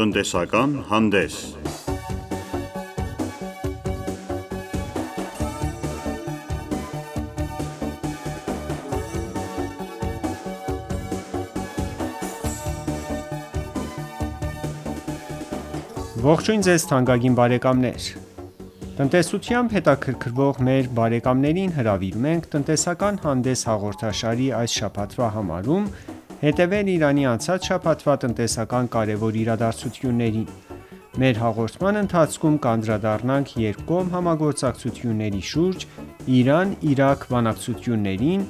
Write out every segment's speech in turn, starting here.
Տնտեսական հանդես Ողջույն թանկագին բարեկամներ: Տնտեսությամբ հետաքրքրվող մեր բարեկամներ հրավիրում ենք «Տնտեսական հանդես» հաղորդաշարի այս շաբաթվա համարում հետևել` Իրանի անցած շաբաթվա տնտեսական կարևոր իրադարձություններին: Մեր հաղորդման ընթացքում կանդրադառնանք երկկողմ համագործակցությունների շուրջ Իրան-Իրաք բանակցություններին,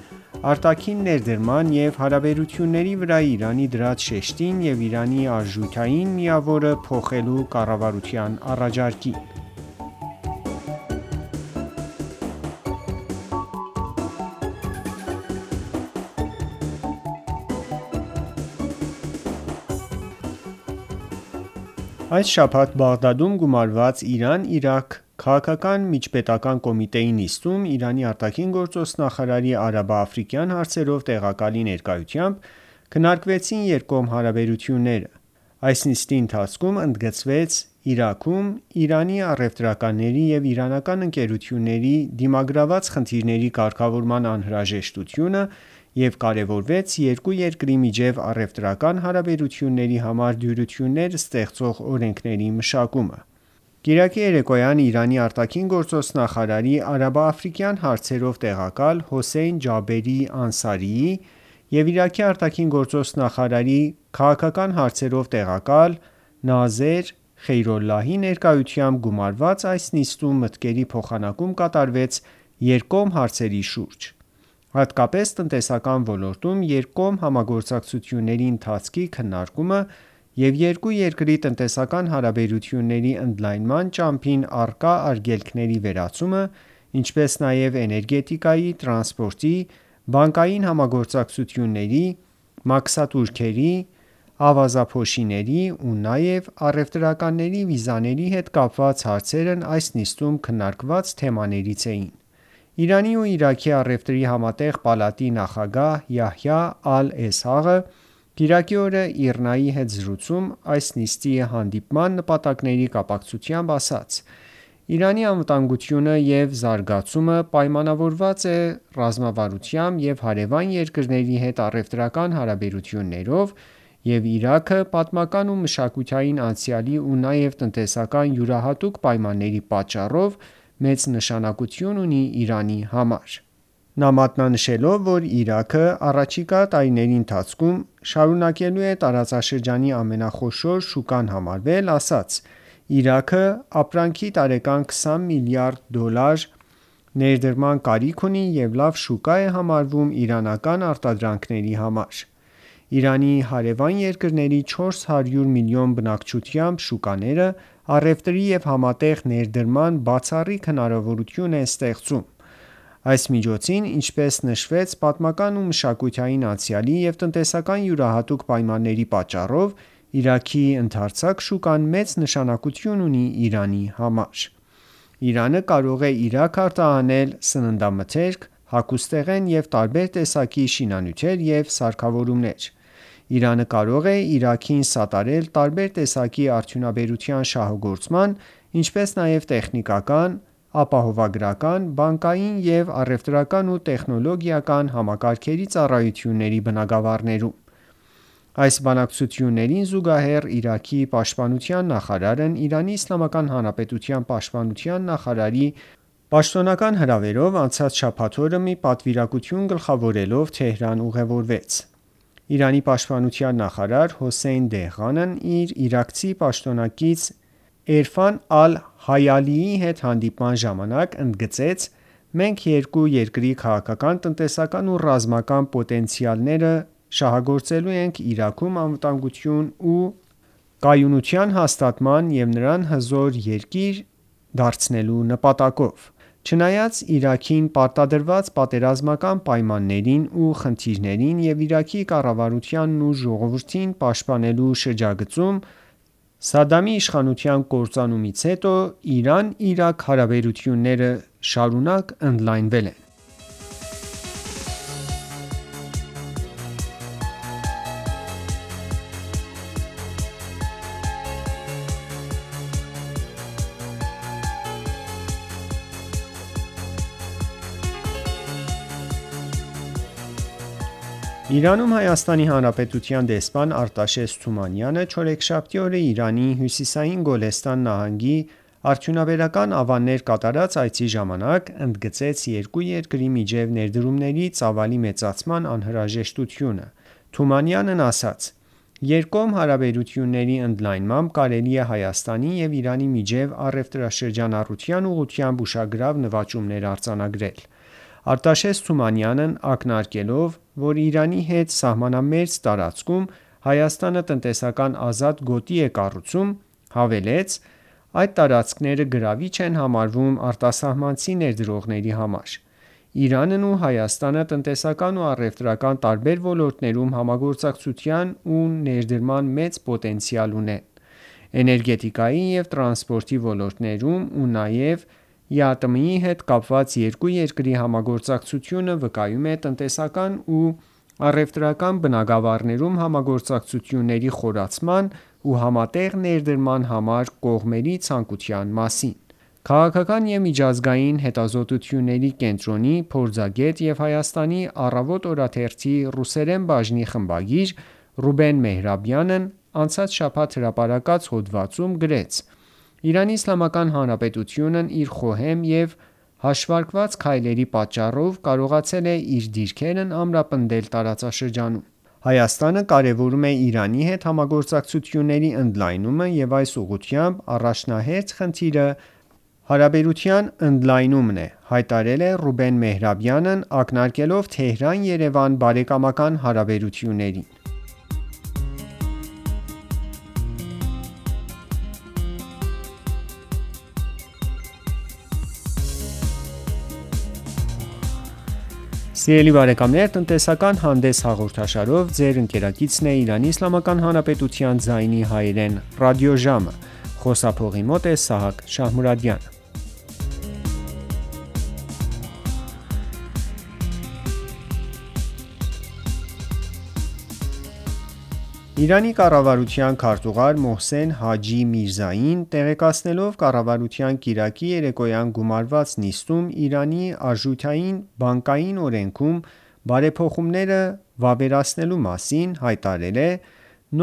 արտաքին ներդրման և հարաբերությունների վրա Իրանի դրած շեշտին և Իրանի արժութային միավորը փոխելու կառավարության առաջարկին: Այս շաբաթ Բաղդադում գումարված Իրան-Իրաք քաղաքական միջպետական կոմիտեի նիստում Իրանի ԱԳ նախարարի արաբա-աֆրիկյան հարցերով տեղակալի ներկայությամբ քննարկվեցին երկկողմ հարաբերությունները: Այս նիստի ընթացքում ընդգծվեց Իրաքում իրանցի առևտրականների և իրանական ընկերությունների դիմագրաված խնդիրների կարգավորման անհրաժեշտությունը և կարևորվեց երկու երկրի միջև առևտրական հարաբերություններ համար դյուրություններ ստեղծող օրենքների մշակումը: Մեր հաղորդման առաջին բաժնում կանդրադառնանք այդ թեմային: Կիրակի երեկոյան Իրանի ԱԳ նախարարի արաբա-աֆրիկյան հարցերով տեղակալ Հոսեյն Ջաբերի Անսարիի և Իրաքի ԱԳ նախարարի քաղաքական հարցերով տեղակալ Նազար Խեյրոլլահի ներկայությամբ գումարված այս նիստում մտքերի փոխանակում կատարվեց երկկողմ հարցերի շուրջ: Հատկապես տնտեսական ոլորտում երկկողմ համագործակցությունների ընթացքի քննարկումը և երկու երկրի տնտեսական հարաբերությունների ընդլայնման ճամփին առկա արգելքների վերացումը, ինչպես նաև էներգետիկայի, տրանսպորտի, բանկային համագործակցությունների, մաքսատուրքերի, ավազափոշիների ու նաև առևտրականների վիզաների հետ կապված հարցերն այս նիստում քննարկված թեմաներից էին: Իրանի ու Իրաքի առևտրի համատեղ պալատի նախագահ Յահյա Ալ Էսհաղը կիրակի օրը ԻՌՆԱ-ի հետ զրույցում այս նիստի հետապնդած նպատակների կապակցությամբ ասաց. «Իրանի անվտանգություն ու զարգացումը պայմանավորված է ռազմավարությամբ և հարևան երկրների հետ առևտրական հարաբերություններով և Իրաքը պատմական ու մշակութային անցյալի ու նաև տնտեսական յուրահատուկ պայմանների պատճառով մեծ նշանակություն ունի Իրանի համար»: Նա մատնանշելո, որ Իրաքը առաջիկա տարիների ընթացքում շարունակելու է տարածաշրջանի ամենախոշոր շուկան համարվել, ասաց. «Իրաքը տարեկան առնվազն 20 միլիարդ դոլարի արժողությամբ ապրանքի ներկրման կարիք ունի և լավ շուկա է համարվում իրանական արտադրանքների համար»: Իրանի հարևան երկրների 400 միլիոն բնակչությամբ շուկաները առևտրի և համատեղ ներդրման բացառիկ հնարավորություն են ստեղծում: Ինչպես նշվեց պատմական ու մշակութային անցյալի և տնտեսական յուրահատուկ պայմանների պատճառով Իրաքի ընդարձակ շուկան մեծ նշանակություն ունի: Իրանը կարող է Իրաք արտահանել սննդամթերք, հագուստեղեն և տարբեր տեսակի շինանյութեր ու սարքավորումներ: Իրանը կարող է Իրաքին սատարել տարբեր տեսակի արդյունաբերության շահագործման, ինչպես նաև տեխնիկական, ապահովագրական, բանկային և առևտրական ու տեխնոլոգիական համակարգերի ծառայությունների բնագավառներում: Այս բանակցություններին զուգահեռ Իրաքի պաշտպանության նախարարի գլխավորած պատվիրակությունը ԻԻՀ պաշտպանության նախարարի պաշտոնական հրավերով անցած շաբաթ օրը Թեհրան ժամանեց: Իրանի պաշտպանության նախարար Հոսեյն Դեհղանն իր իրաքցի պաշտոնակից Էրֆան Ալ-Հայալիի հետ հանդիպման ժամանակ ընդգծեց. «Մենք երկու երկրի քաղաքական, տնտեսական ու ռազմական պոտենցիալները շահագործելու ենք Իրաքում անվտանգության ու կայունության հաստատման և այն հզոր երկրի վերածելու նպատակով»: Չնայած Իրաքին պարտադրված պատերազմական պայմաններին ու խնդիրներին Սադամի իշխանության կործանումից հետո ԻԻՀ-Իրաք հարաբերությունները շարունակ ընդլայնվել են: Իրանը մշտապես աջակցել է Իրաքի կառավարությանն ու ժողովրդին: Իրանում ՀՀ դեսպան Արտաշես Թումանյանը չորեքշաբթի օրը Իրանի հյուսիսային Գոլեստան նահանգի արդյունաբերական ավաններ կատարած այցի ժամանակ ընդգծեց երկու երկրի միջև ներդրումների ծավալի մեծացման անհրաժեշտությունը: Թումանյանն ասաց. «Երկկողմ հարաբերությունների ընդլայնմամբ կարելի է Հայաստանի ու Իրանի միջև առևտրաշրջանառության ուղղությամբ ուշագրավ նվաճումներ արձանագրել»: Արտաշես Թումանյանն նշելով, որ Իրանի հետ սահմանամերձ տարածքում Հայաստանը տնտեսական ազատ գոտի է կառուցում, հավելեց. «Այդ տարածքները գրավիչ են համարվում արտասահմանցի ներդրողների համար»: Իրանն ու Հայաստանը տնտեսական ու առևտրական տարբեր ոլորտներում համագործակցության ու ներդրման մեծ պոտենցիալ ունեն: Էներգետիկայի ու տրանսպորտի ոլորտներում ու նաև ԵԱՏՄ-ի հետ կապված երկու երկրի համագործակցությունը վկայում է տնտեսական ու առևտրական բնագավառներում համագործակցությունների խորացման ու համատեղ ներդրման համար կողմերի ցանկության մասին: «Քաղաքական եւ միջազգային հետազոտությունների կենտրոնի» փորձագետ և Հայաստանի «Առավոտ» օրաթերթի ռուսերեն բաժնի խմբագիր Ռուբեն Մեհրաբյանն անցած շաբաթ հրապարակված հոդվածում գրեց. «ԻԻՀ-ն իր խոհեմ և հաշվարկված քայլերի շնորհիվ կարողացել է իր դիրքերն ամրապնդել տարածաշրջանում»: «Հայաստանը կարևորում է Իրանի հետ համագործակցությունների ընդլայնումը և այս ուղղությամբ առաջնահերթ խնդիրը հարաբերության ընդլայնումն է»,-հայտարարել է Ռուբեն Մեհրաբյանն ակնարկելով Թեհրան-Երևան բարեկամական հարաբերություններին: Իրանի կառավարության քարտուղար Մոհսեն Հաջի Միրզային տեղեկացնելով կառավարության կիրակի երեկոյան գումարված նիստում Իրանի արժութային-բանկային օրենքում բարեփոխումները վավերացվելու մասին, հայտարարեց.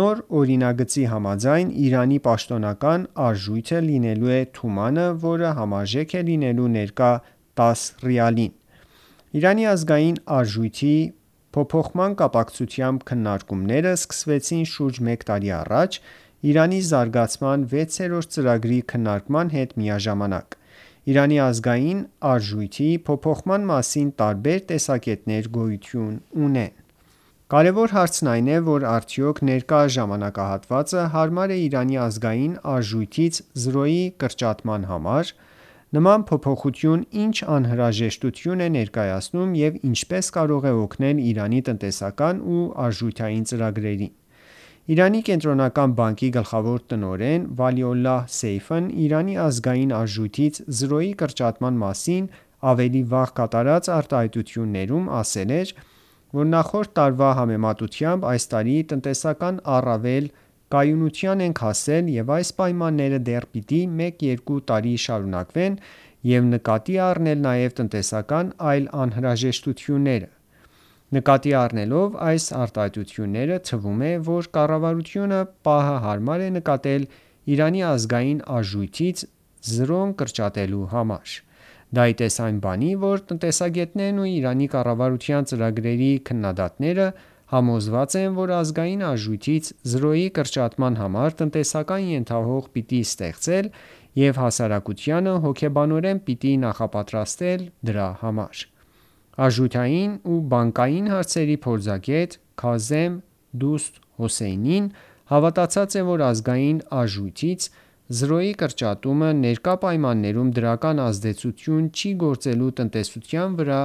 «Նոր օրինագծի համաձայն Իրանի պաշտոնական արժույթը լինելու է «Թուման»-ը, որը համարժեք է լինելու ներկա 10 ռիալին»: Իրանի ազգային արժույթի փոփոխման կապակցությամբ քննարկումները սկսվեցին շուրջ մեկ տարի առաջ՝ Իրանի զարգացման վեցերորդ ծրագրի քննարկման հետ միաժամանակ: Իրանի ազգային արժույթի փոփոխման մասին տարբեր տեսակետներ գոյություն ունեն: Մեր հաղորդման հաջորդ զրույցը հատկացված է այդ թեմային: Կարևոր հարցն այն է, որ արդյոք ներկա ժամանակահատվածը հարմար է Իրանի ազգային արժույթից զրոյի կրճատման համար: Նման փոփոխություն ի՞նչ անհրաժեշտություն է ներկայացնում և ինչպե՞ս կարող է օգնել Իրանի տնտեսական ու արժութային ծրագրերին: Իրանի կենտրոնական բանկի գլխավոր տնօրեն Վալիոլլահ Սեյֆն Իրանի ազգային արժույթից զրոյի կրճատման մասին ավելի վաղ կատարած արտահայտություններում ասել էր, որ նախորդ տարվա համեմատությամբ այս տարի տնտեսական առավել կայունության ենք հասել և այս պայմանները դեռ պիտի մեկ-երկու տարի շարունակվեն և նկատի պիտի առնել նաև տնտեսական այլ անհրաժեշտությունները: Նկատի առնելով այս արտահայտությունները թվում է, որ կառավարությունը պահը հարմար է նկատել Իրանի ազգային արժույթից զրոն կրճատելու համար: Դա ի տես այն բանի, որ տնտեսագետներն ու Իրանի կառավարության ծրագրերի քննադատները համոզված են, որ ազգային արժույթից զրոյի կրճատման համար տնտեսական ենթահող պիտի ստեղծել և հասարակությանը հոգեբանորեն պիտի նախապատրաստել դրա համար: Արժութային ու բանկային հարցերի փորձագետ Քազեմ Դուսթ Հոսեյնին համոզված է, որ ազգային արժույթից զրոյի կրճատումը ներկա պայմաններում դրական ազդեցություն չի գործելու տնտեսության վրա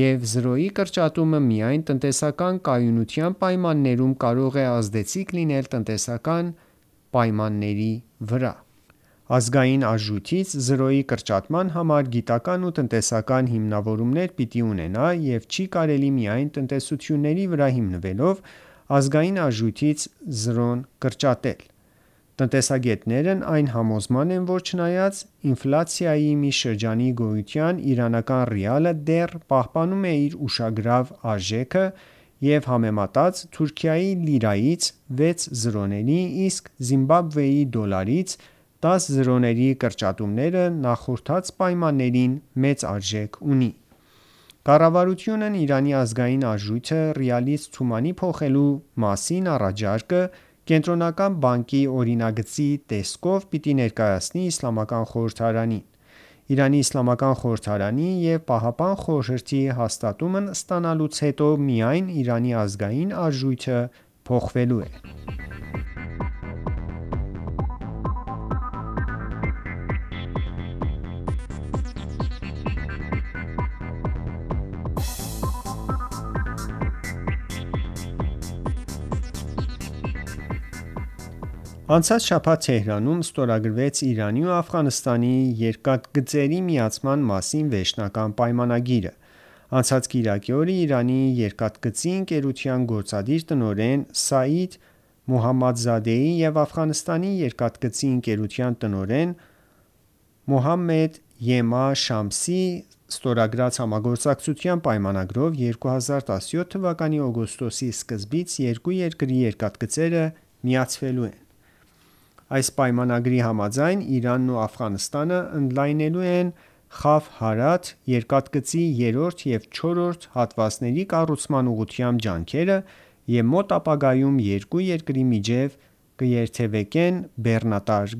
և զրոյի կրճատումը միայն տնտեսական կայունության պայմաններում կարող է ազդեցիկ լինել: Ազգային արժույթից զրոյի կրճատման համար պետք է գիտական ու տնտեսական հիմնավորումներ լինեն և չի կարելի միայն տեսությունների վրա հիմնվելով ազգային արժույթից զրոներ կրճատել: Տնտեսագետներն այն համոզման են, որ չնայած ինֆլյացիայի մի շրջանի գոյության իրանական ռիալը դեռ պահպանում է իր ուշագրավ արժեքը և օրինակ համեմատած Թուրքիայի լիրայից 6 զրոների, իսկ Զիմբաբվեի դոլարից 10 զրոների կրճատմանը նախորդած պայմաններին, մեծ արժեք ունի: Կառավարությունն Իրանի ազգային արժույթը ռիալից թումանի փոխելու մասին առաջարկը Կենտրոնական բանկի օրինագծի տեսքով պիտի ներկայացնի Իսլամական խորհրդարանին: Իրանի իսլամական խորհրդարանի և Պահապան խորհրդի կողմից հաստատվելու դեպքում միայն Իրանի ազգային արժույթը կփոխվի: Անցած շաբաթ Թեհրանում ստորագրվեց Իրանի ու Աֆղանստանի երկաթգծերի միացման մասին վերջնական պայմանագիրը: Անցած կիրակի օրը Իրանի Երկաթգծի ընկերության գործադիր տնօրեն Սաիդ Մոհամմեդզադեի և Աֆղանստանի Երկաթգծի ընկերության տնօրեն Մոհամմեդ Յեմա Շամսի ստորագրած համագործակցության պայմանագրով 2017 թվականի օգոստոսի սկզբից երկու երկրի երկաթգծերը միացվելու են: Այս պայմանագրի համաձայն Իրանն ու Աֆղանստանն ընդլայնելու են Խաֆ-Հարաթ երկաթգծի երրորդ և չորրորդ հատվածների կառուցման ուղղությամբ ջանքերը և մոտ ապագայում երկու երկրի միջև կերթևեկեն բեռնատար